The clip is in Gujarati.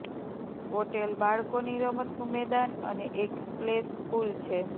હોટેલ બાળકોની રમતનું મેદાન અને એક સ્પ્લેશ પૂલ છે